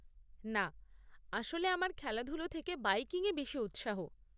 না, আসলে আমার খেলাধুলো থেকে বাইকিং এ বেশি উৎসাহ।